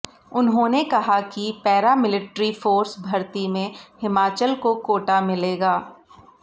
उन्होंने कहा कि पैरामिलिट्री फोर्स भर्ती में हिमाचल को कोटा मिलेगा